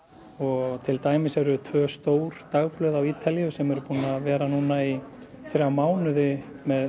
og til dæmis eru tvö stór dagblöð á Ítalíu sem eru búin að vera núna í þrjá mánuði með